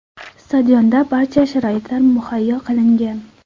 Stadionda barcha sharoitlar muhayyo qilingan.